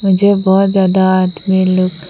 जे बहोत ज्यादा आदमी लोग --